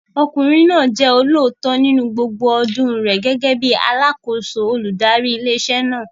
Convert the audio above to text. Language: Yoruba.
Ọkùnrin náà jẹ́ olóòótọ́ nínú gbogbo ọdún rẹ̀ gẹ́gẹ́ bíi alákòóso olùdarí ilé iṣẹ́ náà.